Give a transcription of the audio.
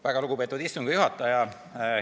Väga lugupeetud istungi juhataja!